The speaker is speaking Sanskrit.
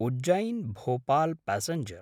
उज्जैन्–भोपाल् प्यासेंजर्